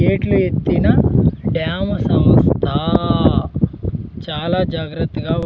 గేట్లు ఎత్తినా డ్యాము సమస్త చాల జాగ్రత్త గా ఉ --